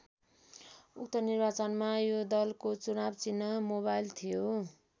उक्त निर्वाचनमा यो दलको चुनाव चिह्न मोबाइल थियो।